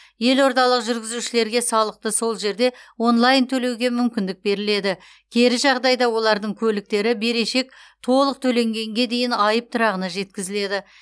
елордалық жүргізушілерге салықты сол жерде онлайн төлеуге мүмкіндік беріледі кері жағдайда олардың көліктері берешек толық төленгенге дейін айып тұрағына жеткізіледі